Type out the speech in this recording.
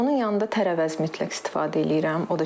Onun yanında tərəvəz mütləq istifadə eləyirəm.